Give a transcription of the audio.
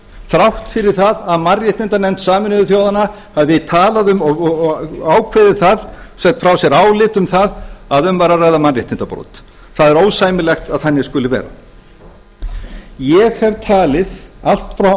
þrátt fyrir að mannréttindanefnd sameinuðu þjóðanna hafi talað um og ákveðið og sent frá sér álit um það að um væri að ræða mannréttindabrot það er ósæmilegt að þannig skuli vera ég hef talið allt frá